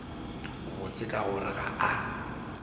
botse ka gore ga a